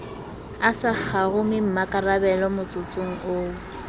a sa kgarumemmakarabelo motsotsong oo